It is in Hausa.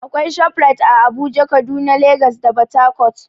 Akwai ShopRite ã Abuja, Kaduna, Legas da port Harcourt.